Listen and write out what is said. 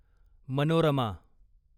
Manorama